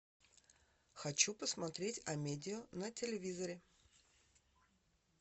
хочу посмотреть амедиа на телевизоре